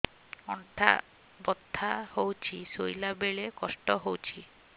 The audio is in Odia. ଅଣ୍ଟା ବଥା ହଉଛି ଶୋଇଲା ବେଳେ କଷ୍ଟ ହଉଛି